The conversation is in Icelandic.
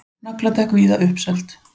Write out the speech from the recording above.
Nagladekk víða uppseld